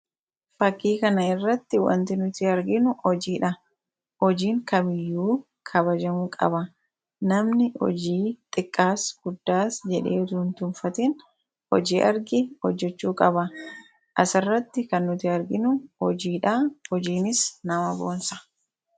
Fakkii kana irratti waanti nuti arginu hojiidha. Hojiin kamiyyuu kabajamuu qaba. Namni hojii xiqqaas guddaas jedhee itoo hintuffatin hojii arge hojjechuu qaba. Asirratti kan nuti arginu hojiidha. Hojiinis nama bonsa.